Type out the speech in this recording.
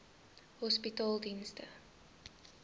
hospitaledienste